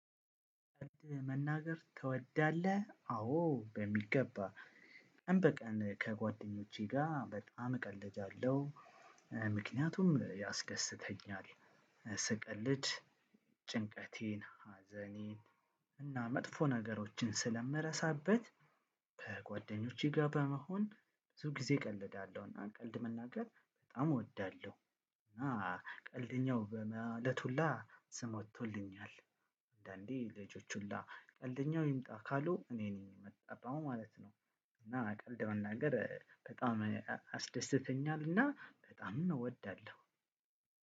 መናገር ትወዳለህ? አዎ በሚገባ። ቀን በቀን ከጓደኞቼ ጋር በጣም እቀለዳለው። ምክንያቱም ያስደስተኛል ስቀልድ ጭንቀቴን፣ ሀዘኔን እና መጥፎ ነገሮችን ስለምረሳበት በጓደኞቼ ጋር በመሆን ብዙ ጊዜ እቀልዳለሁና ቀልድ መናገር በጣም እወዳለሁ። እና ቀልደኛው በማለት ሁላ ስም ወጥቶልኛል። አንዳንዴ ልጆች ሁላ ቀልደኛው ይምጣ ካሉ እኔ ነኝ የምጠራው ማለት ነው። እና ቀልድ መናገር በጣም አስደስተኛልና በጣምም እወዳለሁ።